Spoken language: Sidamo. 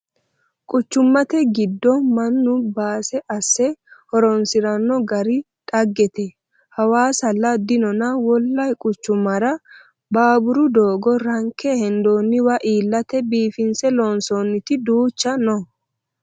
Quchumate giddo mannu base asse horonsirano gari dhaggete hawaasalla dinonna wole quchumara baaburo doogo ranke hendonniwa iillate biifinse loonsonniti duucha no